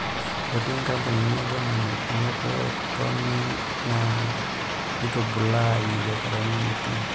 " Etii nkampunini e Germany ene pee toni naa neitubulaa ibiasharani enye pii.